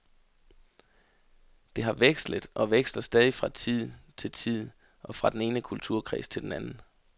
Det har vekslet og veksler stadig fra tid til tid og fra den ene kulturkreds til den anden.